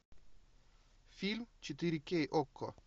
фильм четыре кей окко